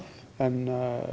en